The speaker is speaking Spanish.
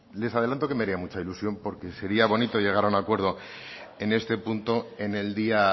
les adelanto que me haría mucha ilusión porque sería bonito llegar a un acuerdo en este punto en el día